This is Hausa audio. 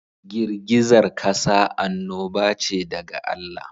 Girgizar kasa annoba ce daga Allah.